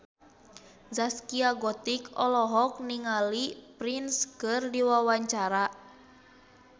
Zaskia Gotik olohok ningali Prince keur diwawancara